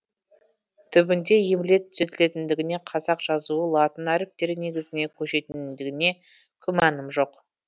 түбінде емле түзетілетіндігіне қазақ жазуы латын әріптері негізіне көшетіндігіне күмәнім жоқ